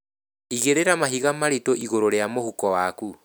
Igĩrĩra mahiga maritũ igũrũ rĩa mũhuko waku